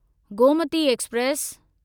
Gomti express